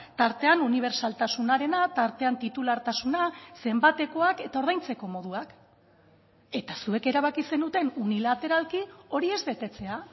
tartean unibertsaltasunarena tartean titulartasuna zenbatekoak eta ordaintzeko moduak eta zuek erabaki zenuten unilateralki hori ez betetzea